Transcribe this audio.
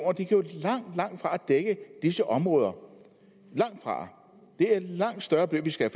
langtfra dække disse områder langtfra det er langt større beløb vi skal